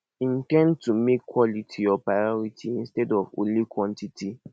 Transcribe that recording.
in ten d to make quality your priority instead of only quantity